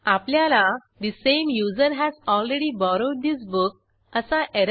आपल्याला the same user has already borrowed this book असा error message मिळेल